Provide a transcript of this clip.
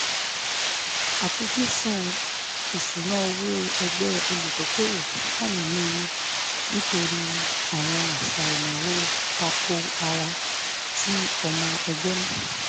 àfojúsùn ìṣúnná owó ẹgbẹ́ olùdókòwò wà nínú ewu nítorí àwọn àṣà ìnáwó ta-ko-ara tí ọmọ ẹgbẹ́ ní